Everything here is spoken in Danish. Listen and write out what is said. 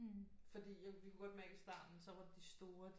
Fordi vi kunne godt mærke i starten så var de store de